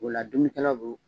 O la dumunikɛlaw